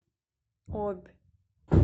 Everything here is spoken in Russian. обь